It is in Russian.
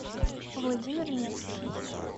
владимир невский